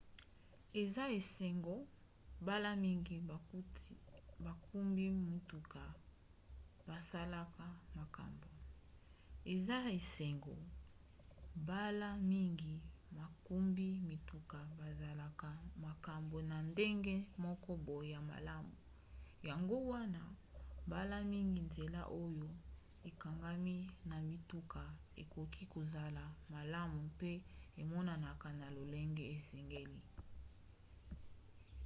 eza esengo mbala mingi bakumbi mituka basalaka makambo na ndenge moko boye ya malamu; yango wana mbala mingi nzela oyo ekangami na mituka ekoki kozala malamu mpe emonanaka na lolenge esengeli